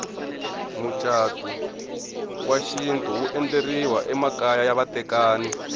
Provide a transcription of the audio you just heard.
mucatu wa xintu wu endleriwa emakaya ya vatekani